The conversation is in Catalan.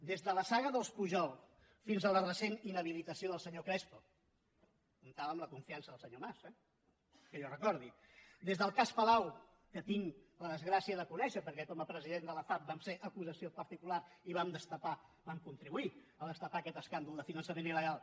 des de la saga dels pujol fins a la recent inhabilitació del senyor crespo comptava amb la confiança del senyor mas eh que jo recordi des del cas palau que tinc la desgràcia de conèixer perquè com a president de la fav vam ser acusació particular i vam destapar vam contribuir a destapar aquest escàndol de finançament il·legal